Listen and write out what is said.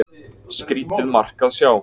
Skrýtið mark að sjá.